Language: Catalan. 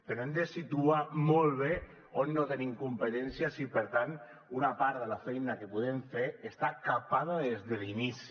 però hem de situar molt bé on no tenim competències i per tant una part de la feina que podem fer està capada des de l’inici